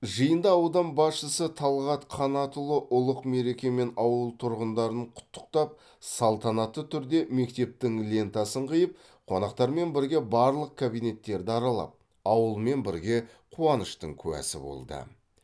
жиында аудан басшысы талғат қанатұлы ұлық мерекемен ауыл тұрғындарын құттықтап салтанатты түрде мектептің лентасын қиып қонақтармен бірге барлық кабинеттерді аралап ауылмен бірге қуаныштың куәсі болды